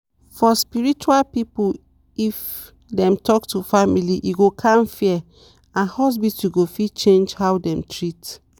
for spiritual people if dem talk to family e go calm fear and hospitals go fit change how dem treat.